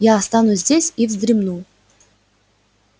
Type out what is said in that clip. я останусь здесь и вздремну